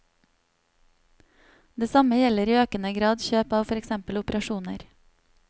Det samme gjelder i økende grad kjøp av for eksempel operasjoner.